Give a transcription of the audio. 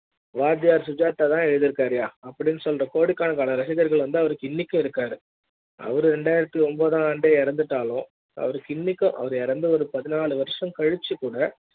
வாத்தியார் சுஜாதா தா எழுதிருக்காருய்யா சுஜாதா இருக்கு அப்டி ன்னு சொல்ற கோடிக்கணக்கான ரசிகர்கள் அவருக்கு இன்னைக்கு இருக்காரு அவரு ரெண்டாயிரத்து ஒன்பதாண்டு இறந்து விட்டாலும் அவருக்கு இன்னைக்கு அவர் இறந்து பதினாலு வருஷம் கழிச்சு க்கூட